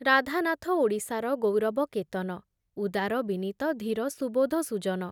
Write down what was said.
ରାଧାନାଥ ଓଡ଼ିଶାର ଗୌରବ କେତନ ଉଦାର ବିନୀତ ଧୀର ସୁବୋଧ ସୁଜନ ।